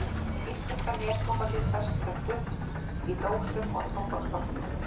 Íslenska neftóbakið fæst sem duft í dósum og tóbakshornum.